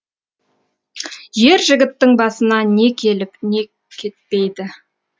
ер жігіттің басына не келіп не кетпейді